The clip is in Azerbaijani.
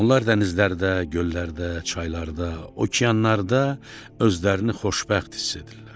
Onlar dənizlərdə, göllərdə, çaylarda, okeanlarda özlərini xoşbəxt hiss edirlər.